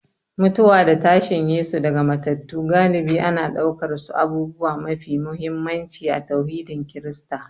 Mutuwa da tashin Yesu daga matattu galibi ana ɗaukarsu abubuwa mafi muhimmanci a tauhidin Kirista